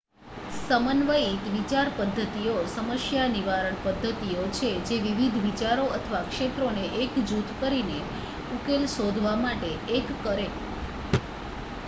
સમન્વયિત વિચારપદ્ધતિઓ સમસ્યા નિવારણ પદ્ધતિઓ છે જે વિવિધ વિચારો અથવા ક્ષેત્રોને એક જૂથ કરીને ઉકેલ શોધવા માટે એક કરે